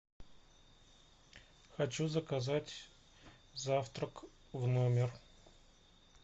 хочу заказать завтрак в номер